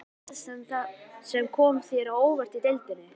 Var eitthvað lið sem kom þér á óvart í deildinni?